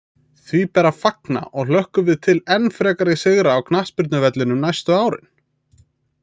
Því ber að fagna og hlökkum við til enn frekari sigra á knattspyrnuvellinum næstu árin!